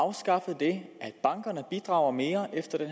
afskaffe det at bankerne bidrager mere efter